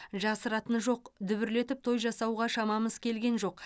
жасыратыны жоқ дүбірлетіп той жасауға шамамыз келген жоқ